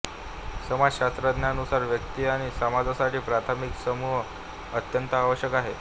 समाजषास्त्रज्ञांनुसार व्यक्ती आणि समाजासाठी प्राथमिक समूह अत्यंत आवष्यक आहे